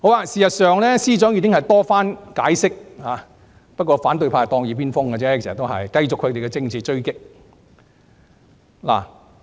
事實上，司長已多次解釋，只是反對派當耳邊風，繼續他們的政治追擊。